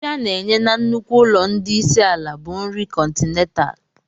Nri a na-enye na nnukwu ụlọ ndị isi ala bụ nri kọntinentaalụ.